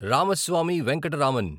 Ramaswamy Venkataraman